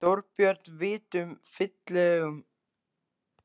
Þorbjörn, vitum við fyllilega hver áhrifin af álitinu eru?